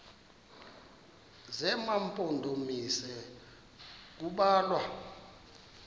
zema mpondomise kubalwa